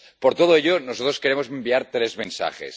Por todo ello, nosotros queremos enviar tres mensajes.